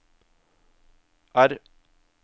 R